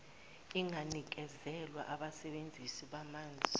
inganikezelwa abasebenzisi bamanzi